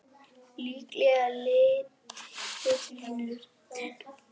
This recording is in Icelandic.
Líklega lítill vinur þinn!